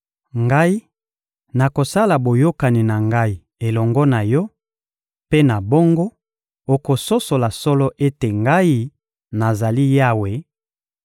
Ngai nakosala boyokani na Ngai elongo na yo; mpe na bongo, okososola solo ete Ngai, nazali Yawe,